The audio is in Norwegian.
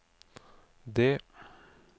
det